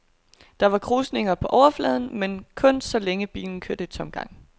Der var krusninger på overfladen, men kun så længe bilen kørte i tomgang.